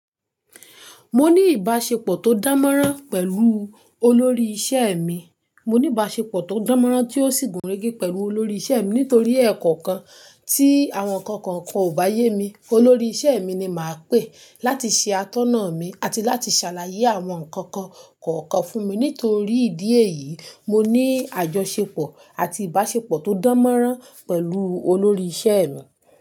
Mo ní ìbáṣepọ̀ tó dánmọ́nrán pẹ̀lú olórí ìṣe mi. Mo ní ìbáṣepọ̀ tó dánmọ́nrán tí ó sì gùn rẹ́gí pẹ̀lú olórí ìṣe mi nítorí ẹ̀kọ̀kan tí àwọn ǹkan kan kò bá yé mi, olórí ìṣe mi ni màá pè láti ṣe atọ́nà mi àti láti ṣàlàyé àwọn ǹkan kan kọ̀ọ̀kan fún mi. Nítorí ìdí èyí, mo ní àjọṣepọ̀ àti ìbáṣepọ̀ tó dánmọ́nrán pẹ̀lú olórí ìṣe mi.